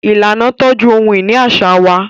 Ìlànà tọju ohun-ìní aṣa wà.